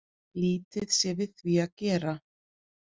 Lítið sé við því að gera